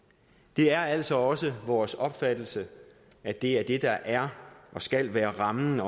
det er altså også vores opfattelse at det er det der er og skal være rammen